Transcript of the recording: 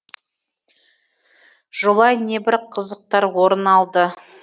жолай небір қызықтар орын алды